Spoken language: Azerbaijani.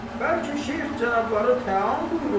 Bəlkə Şeyx cənabları təam buyururlar?